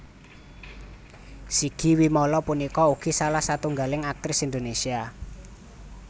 Sigi Wimala punika ugi salah satunggaling aktris Indonésia